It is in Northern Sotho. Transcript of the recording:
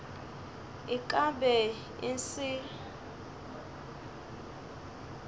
e ka be e se